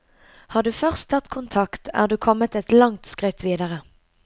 Har du først tatt kontakt, er du kommet et langt skritt videre.